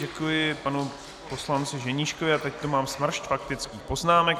Děkuji panu poslanci Ženíškovi a teď tu mám smršť faktických poznámek.